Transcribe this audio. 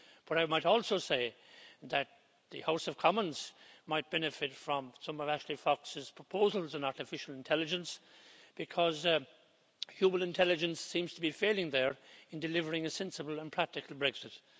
But I might also say that the House of Commons might benefit from some of Ashley Fox's proposals in artificial intelligence, because human intelligence seems to be failing there in delivering a sensible and practical Brexit.